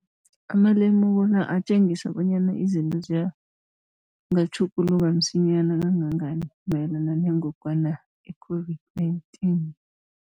Amalemuko la atjengisa bonyana izinto zingatjhuguluka msinyana kangangani mayelana nengogwana i-COVID-19.